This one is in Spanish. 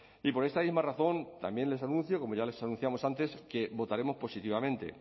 y por esta misma razón también les anuncio como ya le anunciamos antes que votaremos positivamente